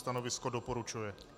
Stanovisko - doporučuje.